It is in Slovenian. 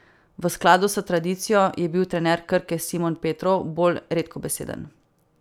V skladu s tradicijo je bil trener Krke Simon Petrov bolj redkobeseden.